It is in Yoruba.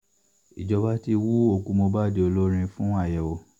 ìjọba ti hu òkú mohbad olórin fún àyẹ̀wò